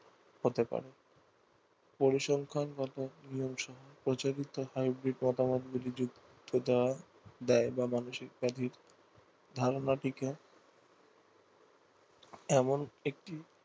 হতে পারে পরিসংখ্যানগত প্রচলিত হয় বিপদআপদ গুলি দেয় বা মানসিক ব্যাধির ধারণাটিকে এমন একটি